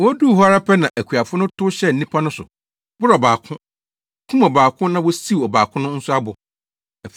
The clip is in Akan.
“Woduu hɔ ara pɛ na akuafo no tow hyɛɛ nnipa no so, boroo ɔbaako, kum ɔbaako na wosiw ɔbaako nso abo.